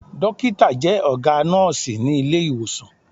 Dọ́kítà jẹ́ ọ̀gá nọ́ọ̀sí ní Ilé-ìwòsàn.